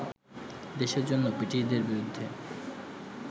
দেশের জন্য ব্রিটিশদের বিরুদ্ধে